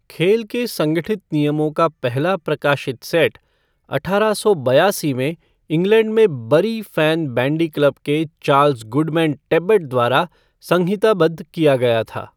खेल के संगठित नियमों का पहला प्रकाशित सेट अठारह सौ बयासी में इंग्लैंड में बरी फ़ैन बैंडी क्लब के चार्ल्स गुडमैन टेबबट द्वारा संहिताबद्ध किया गया था।